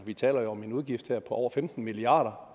vi taler jo om en udgift her på over femten milliard